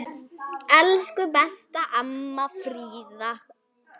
Elsku besta amma Fríða.